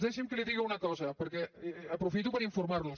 deixi’m que li digui una cosa perquè aprofito per informarlos